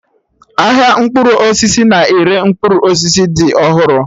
Ahịa mkpụrụ osisi na-ere mkpụrụ osisi dị ọhụrụ